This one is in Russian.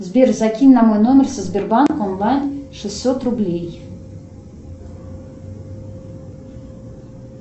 сбер закинь на мой номер со сбербанк онлайн шестьсот рублей